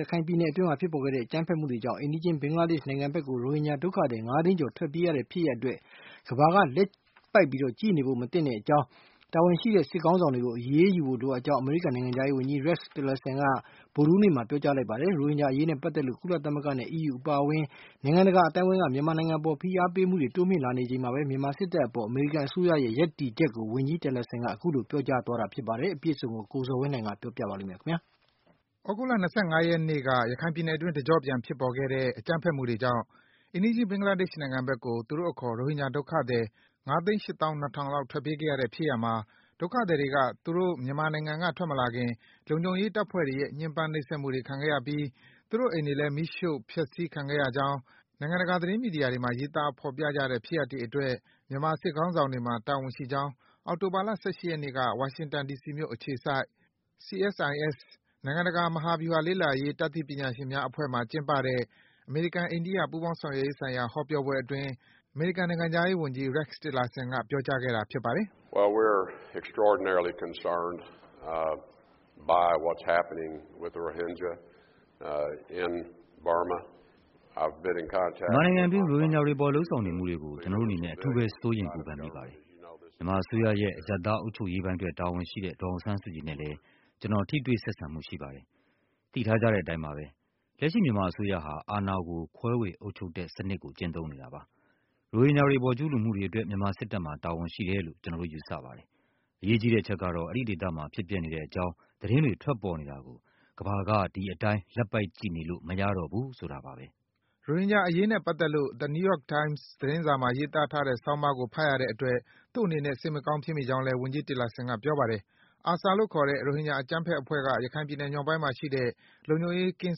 ရခိုင်ပြည်နယ်အတွင်း ဖြစ်ပေါ်ခဲ့တဲ့ အကြမ်းဖက်မှုတွေကြောင့် အိမ်နီးချင်း ဘင်္ဂလားဒေ့ရှ်နိုင်ငံဘက်ကို ရိုဟင်ဂျာ ဒုက္ခသည် ၅ သိန်းကျော် ထွက်ပြေးခဲ့ရတဲ့ ဖြစ်ရပ်အတွက် ကမ္ဘာက လက်ပိုက်ကြည့်နေဖို့ မသင့်ကြောင်း၊ တာဝန်ရှိတဲ့စစ်ခေါင်းဆောင်တွေကို အရေးယူဖို့ လိုအပ် ကြောင်း အမေရိကန် နိုင်ငံခြားရေးဝန်ကြီး Rex Tillerson က ဗုဒ္ဓဟူးနေ့မှာ ပြောကြားလိုက်ပါတယ်။ ရိုဟင်ဂျာအရေးနဲ့ပတ်သက်လို့ ကုလ သမဂ္ဂနဲ့ အီးယူအပါအဝင် နိုင်ငံတကာ အသိုင်းဝိုင်းက မြန်မာနိုင်ငံအပေါ် ဖိအားပေးမှုတွေ တိုးမြင့်လာနေချိန်မှာဘဲ မြန်မာစစ်တပ်အပေါ် အမေရိကန်အစိုးရရဲ့ ရပ်တည်ချက်ကို ဝန်ကြီး Tillerson က အခုလို ပြောကြားသွားတာ ဖြစ်ပါတယ်။ အပြည့်အစုံကိုတော့ ကိုဇော်ဝင်းလှိုင်က တင်ပြပေးပါမယ်။ သြဂုတ်လ ၂၅ ရက်နေ့က ရခိုင်ပြည်နယ်အတွင်း တကျော့ပြန် ဖြစ်ပေါ်ခဲ့တဲ့ အကြမ်းဖက်မှုတွေကြောင့် အိမ်နီးချင်း ဘင်္ဂလာဒေ့ရှ်နိုင်ငံဘက်ကို သူတို့အခေါ် ရိုဟင်ဂျာ ဒုက္ခသည် ၅၈၂,၀၀၀ လောက် ထွက်ပြေးခဲ့ရတဲ့ ဖြစ်ရပ်မှာ ဒုက္ခသည်တွေက သူတို့ မြန်မာနိုင်ငံက ထွက်မလာခင် လုံခြုံရေး တပ်ဖွဲ့တွေရဲ့ ညှဉ်းပန်းနှိပ်စက်မှုတွေ ခံခဲ့ရပြီး သူတို့အိမ်တွေလည်း မီရှို့ ဖျက်ဆီးခံခဲ့ရကြောင်း နိုင်ငံတကာ သတင်းမီဒီယာတွေမှာ ရေးသားဖော်ပြကြတဲ့ ဖြစ်ရပ်တွေအတွက် မြန်မာစစ်ခေါင်းဆောင်တွေမှာ တာဝန်ရှိကြောင်း အောက်တိုဘာလ ၁၈ ရက်နေ့က ဝါရှင်တန် ဒီစီ မြို့အခြေစိုက် CSIS နိုင်ငံတကာ မဟာဗျူဟာ လေ့လာရေး တတ်သိပညာရှင်များအဖွဲ့မှာကျင်းပတဲ့ အမေရိကန်-အိန္ဒိယ ပူးပေါင်း ဆောင်ရွက်ရေးဆိုင်ရာ ဟောပြောပွဲအတွင်း အမေရိကန် နိုင်ငံခြားရေးဝန်ကြီး Rex Tillerson က ပြောကြားခဲ့တာ ဖြစ်ပါတယ်။ “မြန်မာနိုင်ငံအတွင်း ရိုဟင်ဂျာတွေအပေါ် လုပ်ဆောင်နေမှုတွေအပေါ် ကျနော်တို့အနေနဲ့ အထူးပဲ စိုးရိမ်ပူပန်မိပါတယ်။ မြန်မာအစိုးရရဲ့ အရပ်သား အုပ်ချုပ်ရေးပိုင်းအတွက်တာဝန်ရှိတဲ့ ဒေါ်အောင်ဆန်းစုကြည်နဲ့လည်း ကျနော် ထိတွေ့ဆက်ဆံမှု ရှိပါတယ်။ သိထားကြတဲ့ အတိုင်းပဲ၊ လက်ရှိ မြန်မာအစိုးရဟာ အာဏာကို ခွဲဝေအုပ်ချုပ်တဲ့စံနစ်ကို ကျင့်သုံးနေတာပါ။ ရိုဟင်ဂျာတွေအပေါ် ကျူးလွန်မှုတွေအတွက် မြန်မာစစ်ခေါင်းဆောင်တွေမှာ တာဝန်ရှိတယ်လို့ ကျနော်တို့ ယူဆပါတယ်။ အရေးကြီးတဲ့အချက်ကတော့ အဲဒီ ဒေသမှာ ဖြစ်ပျက်နေတဲ့ အကြောင်း သတင်းတွေ ထွက်ပေါ်နေတောကို ကမ္ဘာက ဒီအတိုင်း လက်ပိုက်ကြည့်နေမရတော့ဘူး ဆိုတာပါပဲ။” ရိုဟင်ဂျာအရေးနဲ့ပတ်သက်လို့ The New York Times သတင်းစာမှာ ရေးသားထားတဲ့ ဆောင်းပါးကိုဖတ်ရတဲ့အတွက် သူ့အနေနဲ့ စိတ်မကောင်း ဖြစ်မိကြောင်းလည်း ဝန်ကြီး Tillerson က ပြောကြားခဲ့ပါတယ်။ ARSA လို့ခေါ်တဲ့ ရိုဟင်ဂျာ အကြမ်းဖက်အဖွဲ့က ရခိုင်ပြည်မြောက်ပိုင်းဒေသမှာရှိတဲ့ လုံခြုံရေး ကင်း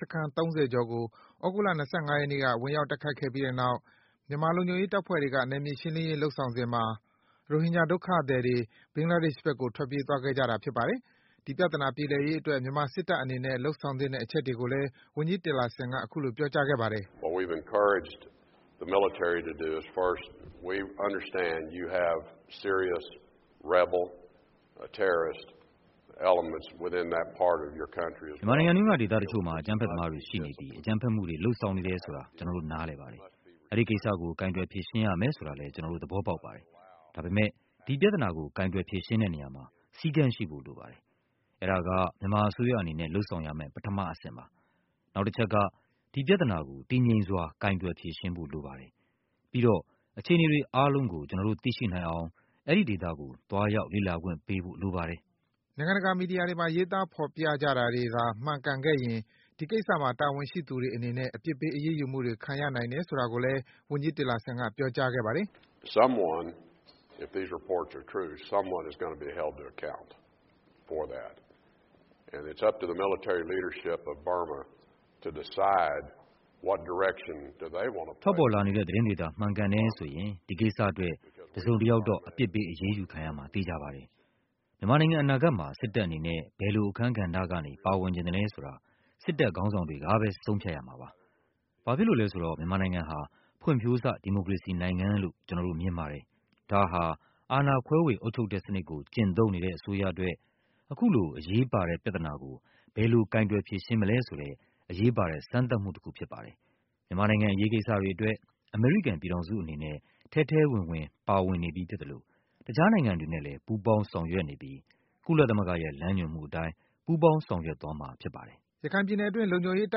စခန်း ကျော်ကို သြဂုတ်လ ၂၅ ရက်နေ့က ဝင်ရောက် တိုက်ခိုက်ခဲ့ပြီးတဲ့နောက် မြန်မာလုံခြုံရေး တပ်ဖွဲ့တွေက နယ်မြေရှင်းလင်းရေးလုပ်ဆောင်စဉ်မှာ ရိုဟင်ဂျာ ဒုက္ခသည် တွေ ဘင်္ဂလားဒေ့ရှ်ဘက်ကို ထွက်ပြေးသွားခဲ့ကြတာ ဖြစ်ပါတယ်။ ဒီပြဿနာ ပြေလည်ရေးအတွက် မြန်မာစစ်တပ်အနေနဲ့ လုပ်ဆောင်သင့်တဲ့ အချက်တွေကိုလည်း ဝန်ကြီး Tillerson က အခုလို ပြောကြားခဲ့ ပါတယ်။ “မြန်မာနိုင်ငံအတွင်းက ဒေသတချို့မှာ အကြမ်းဖက်သမားတွေ ရှိနေပြီး အကြမ်းဖက်မှုတွေ လုပ်ဆောင်နေတယ်ဆိုတာကို ကျနော်တို့ နားလည်ပါတယ်။ အဲဒီကိစ္စကို ကိုင်တွယ်ဖြေရှင်းရမယ်ဆိုတာကိုလည်း ကျနော်တို့ သဘောပေါက်ပါတယ်။ ဒါပေမယ့် ဒီပြဿနာကို ကိုင်တွယ် ဖြေရှင်းတဲ့နေရာမှာ စည်းကမ်းရှိဖို့ လိုပါတယ်။ အဲဒါက မြန်မာအစိုးရအနေနဲ့ လုပ်ဆောင်ရမယ့် ပထမအဆင့် ဖြစ်ပါတယ်။ နောက် တချက်က ဒီပြဿနာကို တည်ငြိမ်စွာ ကိုင်တွယ် ဖြေရှင်းဖို့ လိုပါတယ်။ ပြီးတော့ အခြေအနေတွေ အားလုံးကို ကျနော်တို့ သိရှိနိုင်အောင် အဲဒီဒေသကို သွားရောက် လေ့လာခွင့်ပေးဖို့ လိုပါတယ်။” နိုင်ငံတကာ မီဒီယာတွေမှာ ရေးသား ဖော်ပြနေကြတာတွေသာ မှန်ကန်ခဲ့ရင် ဒီကိစ္စမှာ တာဝန်ရှိသူတွေအနေနဲ့ အပြစ်ပေး အရေးယူမှုတွေ ခံရနိုင်တယ်ဆိုတာလည်း ဝန်ကြီး Tillerson က ပြောကြားခဲ့ပါတယ်။ “ထွက်ပေါ်လာနေတဲ့ သတင်းတွေသာ မှန်ကုန်တယ်ဆိုရင် ဒီကိစ္စအတွက် တစုံ တယောက်တော့ အပြစ်ပေး အရေးယူခံရမှာ သေချာပါတယ်။ မြန်မာနိုင်ငံ အနာဂတ်မှာ စစ်တပ်အနေနဲ့ ဘယ်လို အခန်းကဏ္ဍကနေ ပါဝင်ချင်သလဲဆိုတာကို စစ်တပ် ခေါင်းဆောင်တွေကပဲ ဆုံးဖြတ်ရမှာ ဖြစ်ပါတယ်။ ဘာဖြစ်လို့လည်းဆိုတော့ မြန်မာနိုင်ငံ ဟာ ဖွံ့ဖြိုးစ ဒီမိုကရေစီနိုင်ငံလို့ ကျနော်တို့ မြင်ပါတယ်။ ဒါဟာ အာဏာ ခွဲေ၀ အုပ်ချုပ်တဲ့ စံနစ်ကိုကျင့်သုံးနေတဲ့ အစိုးရအတွက် အခုလို အရေးပါတဲ့ပြဿနာကို ဘယ်လို ကိုင်တွယ်ဖြေရှင်းမလဲဆိုတဲ့ အရေးပါတဲ့ စမ်းသပ်မှုတခု ဖြစ်ပါတယ်။ မြန်မာနိုင်ငံ အရေးကိစ္စတွေအတွက် အမေရိကန်ပြည်ထောင်စုအနေနဲ့ ထဲထဲဝင်ဝင် ပါဝင်နေပြီးဖြစ်သလို တခြား နိုင်ငံတွေနဲ့ လည်း ပူးပေါင်း ဆောင်ရွက်နေပြီး ကုလသမဂ္ဂရဲ့ လွန်းညွန်မှုအတိုင်း ပူးပေါင်း ဆောင်ရွက်သွားမှာ ဖြစ်ပါတယ်။” ရခိုင်ပြည်နယ်တွင်း လုံခြုံရေး တ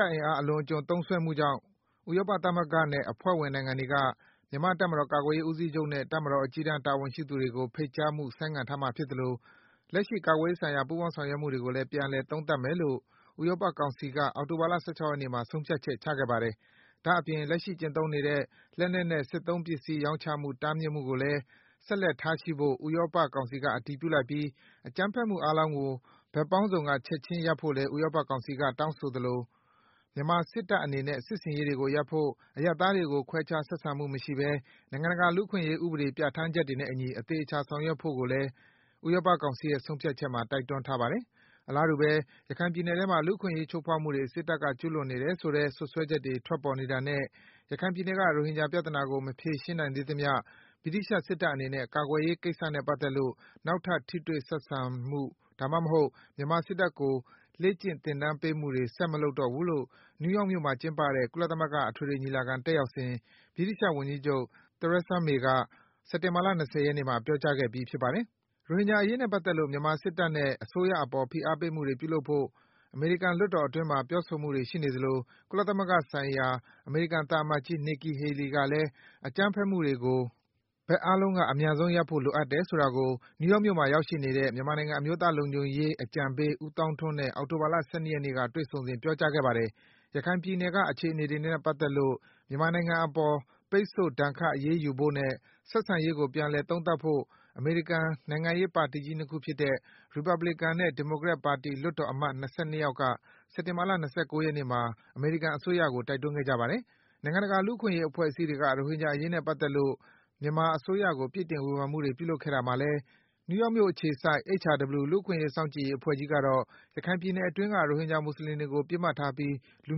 ပ်အင်အား အလွန်အကျွံသုံးစွဲမှုကြောင့် ဥရောပသမဂ္ဂနဲ့ အဖွဲ့ဝင် နိုင်ငံတွေက မြန်မာ့ တပ်မတော် ကာကွယ်ရေး ဦးစီးချုပ်နဲ့ တပ်မတော် အကြီးတန်း တာဝန်ရှိသူတွေကို ဖိတ်ကြားမှု ဆိုင်းငံ့ထားမှာ ဖြစ်သလို လက်ရှိ ကာကွယ်ရေးဆိုင်ရာ ပူးပေါင်း ဆောင်ရွက်မှုတွေကိုလည်း ပြန်လည် သုံးသပ်မယ်လို့ ဥရောပ ကောင်စီက အောက်တိုဘာလ ၁၆ ရက်နေ့မှာ ဆုံးဖြတ်ချက် ချခဲ့ပါတယ်။ ဒါ့အပြင် လက်ရှိ ကျင့်သုံးနေတဲ့ လက်နက်နဲ့ စစ်သုံးပစ္စည်း ရောင်းချမှု တားမြစ်မှုကိုလည်း ဆက်လက်ထားရှိဖို့ ဥရောပသမဂ္ဂက အတည်ပြု လိုက်ပြီး အကြမ်းဖက်မှုအားလုံးကို ဘက်ပေါင်းစုံက ချက်ချင်းရပ်ဖို့လည်း ဥရောပကောင်စီကတောင်းဆိုသလို မြန်မာစစ်တပ်အနေနဲ့ စစ်ဆင် ရေးတွေကို ရပ်ဖို့၊ အရပ်သားတွေကို ခွဲခြားဆက်ဆံမှု မရှိဘဲ နိုင်ငံတကာ လူ့အခွင့်အရေး ဥပဒေ ပြဌာန်းချက်တွေနဲ့ အညီ အသေအချာ ဆောင်ရွက်ဖို့လည်း ဥရောပကောင်စီရဲ့ ဆုံးဖြတ်ချက်မှာ တိုက်တွန်းထားပါတယ်။ အလားတူပဲ - ရခိုင်ပြည်နယ်ထဲမှာ လူ့အခွင့်အရေး ချိုးဖောက်မှုတွေ စစ်တပ်က ကျူးလွန်နေတယ် ဆိုတဲ့ စွပ်စွဲချက်တွေ ထွက်ပေါ်နေတာနဲ့ ရခိုင်ပြည်နယ်က ရိုဟင်ဂျာ ပြဿနာကို မဖြေရှင်းနိုင်သေးသမျှ ဗြိတိသျှ စစ်တပ်အနေနဲ့ ကာကွယ်ရေးကိစ္စနဲ့ ပတ်သက်လို့ နောက်ထပ် ထိတွေ့ဆက်ဆံမှု ဒါမှမဟုတ် မြန်မာစစ်တပ်ကို လေ့ကျင့်သင် တန်းပေးမှုတွေ ဆက်မလုပ်တော့ဘူးလို့ နယူးယောက်မြို့မှာ ကျင်းပတဲ့ ကုလသမဂ္ဂ အထွေထွေ ညီလာခံတက်ရောက်စဉ် ဗြိတိန်ဝန်ကြီးချုပ် Theresa May က စက်တင်ဘာ လ ၂၀ ရက်နေ့မှာ ပြောကြားခဲ့ပြီး ဖြစ်ပါတယ်။ ရိုဟင်ဂျာအရေးနဲ့ ပတ်သက်လို့ မြန်မာစစ်တပ်နဲ့ အစိုးရအပေါ် ဖိအားပေးမှုတွေ ပြုလုပ်ဖို့ အမေရိကန်လွှတ်တော်အတွင်းမှာ ပြောဆိုမှုတွေ ရှိနေသလို ကုလသမဂ္ဂဆိုင်ရာ အမေရိ ကန်သံအမတ်ကြီး Nikki Hailey ကလည်း အကြမ်းဖက်မှုတွေကို ဘက်အားလုံးက အမြန်ဆုံးရပ်ဖို့ လိုအပ်တယ်ဆိုတာကို New York မြို့မှာရောက်နေတဲ့ မြန်မာနိုင်ငံ အမျိုးသားလုံခြုံရေးအကြံပေး ဦးသောင်းထွန်းနဲ့ အောက်တိုဘာလ ၁၂ ရက်နေ့က တွေ့ဆုံ စဉ် ပြောကြားခဲ့ပါတယ်။ ရခိုင်ပြည်နယ်က အခြေအနေတွေနဲ့ ပတ်သက်လို့ မြန်မာနိုင်ငံအပေါ် ပိတ်ဆို့ဒဏ်ခတ် အရေးယူဖို့နဲ့ ဆက်ဆံရေးကို ပြန်လည်သုံးသပ်ဖို့ အမေရိကန် နိုင်ငံရေးပါတီကြီး ၂ ခုဖြစ်တဲ့ ရီပတ်ဘလစ်ကန်နဲ့ ဒီမိုကရက်တစ်ပါတီ လွှတ်တော်အမတ် ၂၂ ယောက်က စက်တင်ဘာလ ၂၉ ရက်နေ့မှာ အမေရိကန်အစိုးရကို တိုက်တွန်းခဲ့ကြပါတယ်။ နိုင်ငံတကာ လူ့အခွင့်အရေး အဖွဲ့အစည်းတွေက ရိုဟင်ဂျာ အရေးနဲ့ ပတ်သက်လို့ မြန်မာ အစိုးရကို ပြစ်တင် ဝေဖန်မှုတွေ ပြုလုပ်ခဲ့တာမှာ - နယူးယောက်မြို့ အခြေစိုက် HRW လူ့အခွင့်အရေး စောင့်ကြည့်ရေးအဖွဲ့ကြီးကတော့ - ခိုင်ပြည်နယ်တွင်းက ရုံဟင်ဂျာ မွတ်စလင်တွေကို ပစ်မှတ်ထားပြီး လူ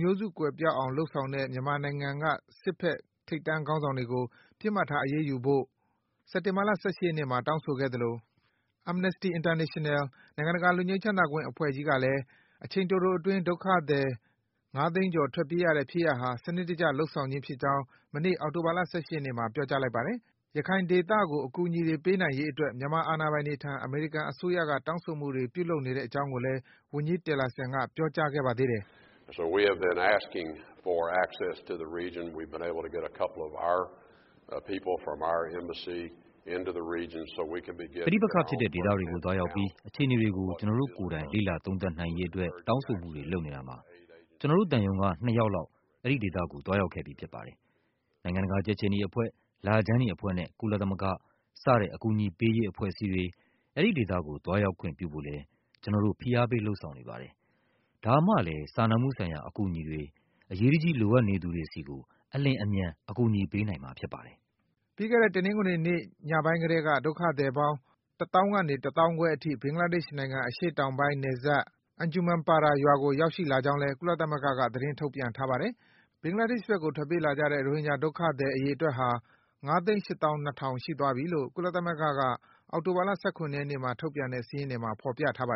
မျိုးစုကွယ်ပျောက်အောင် လုပ်ဆောင်တဲ့ မြန်မာနိုင်ငံက စစ်ဖက် ထိပ်တန်းခေါင်းဆောင်တွေကို ပစ်မှတ်ထား အရေးယူဖို့ စက်တင်ဘာလ ၁၈ ရက်နေ့မှာ တောင်းဆိုခဲ့သလို၊ Amnesty International နိုင်ငံတကာ လွတ်ငြိမ်းချမ်းသာခွင့် အဖွဲ့ကြီးတွေကလည်း အချိန် တိုတိုအတွင်း ဒုက္ခသည်တွေ ၅ သိန်းကျော် ထွက်ပြေးရတဲ့ ဖြစ်ရပ်ဟာ စနစ်တကျ လုပ်ဆောင်ခြင်းဖြစ်ကြောင်း မနေ့ အောက်တိုဘာလ ၁၈ ရက်နေ့မှာ ပြောကြားလိုက်ပါတယ်။ ရခိုင်ဒေသကို အကူအညီအတွေ ပေးနိုင်ရေးအတွက် မြန်မာအာဏာပိုင်တွေထံ အမေရိ ကန် အစိုးရက တောင်းဆိုမှုတွေ ပြုလုပ်နေကြောင်း လည်း ဝန်ကြီး Tillerson က ပြောပါ တယ်။ “ပဋိပက္ခဖြစ်တဲ့ ဒေသတွေကို သွားရောက်ပြီး အခြေအနေတွေကို ကျနော်တို့ကိုယ်တိုင် လေ့လာ သုံးသပ်နိုင်ရေးအတွက် တောင်းဆိုမှုတွေ ပြုလုပ်နေတာမှာ ကျနော်တို့ သံရုံးက ၂ ယောက်လောက် အဲဒီဒေသကို သွားရောက်ခဲ့ပြီး ဖြစ်ပါတယ်။ နိုင်ငံတကာ ကြက်ခြေနီ အဖွဲ့၊ လခြမ်းနီ အဖွဲ့နဲ့ ကုလသမဂ္ဂ စတဲ့ အကူအညီပေးရေး အဖွဲ့အစည်းတွေ အဲဒီ ဒေသ ကို သွားရောက်ခွင့်ပြုဖို့လည်း ကျနော်တို့ ဖိအားပေး လုပ်ဆောင်နေ ပါတယ်။ ဒါမှလည်း စာနာမှုဆိုင်ရာ အကူအညီတွေ အရေးတကြီး လိုအပ်နေသူတွေကို အလျင်အမြန် အကူအညီပေးနိုင်မှာ ဖြစ်ပါတယ်။” ပြီးခဲ့တဲ့ တနင်္ဂနွေနေ့ ညပိုင်းကတည်းက ဒုက္ခသည်ပေါင်း ၁၀,၀၀၀ ကနေ ၁၅,၀၀၀ ထိ ဘင်္ဂလားဒေ့ရှ်နိုင်ငံ အရှေ့တောင်ပိုင်း နယ်စပ်က Anjuman Para ရွာကို ရောက်ရှိလာ ကြကြောင်းလည်း ကုလသမဂ္ဂက သတင်းထုတ်ပြန်ထားပါတယ်။ ဘင်္ဂလားဒေ့ရှ်ဘက်ကို ထွက်ပြေးလာတဲ့ ရိုဟင်ဂျာ ဒုက္ခသည် အရေအတွက်ဟာ ၅၈၂,၀၀၀ ရှိသွားပြီလို့ ကုလ သမဂ္ဂက အောက်တိုဘာလ ၁၇ ရက်နေ့မှာ ထုတ်ပြန် ထားတဲ့ စာရင်းတွေမှာ ဖော်ပြထား ပါတယ်